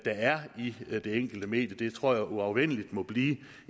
er i det enkelte medie det tror jeg uafvendeligt må blive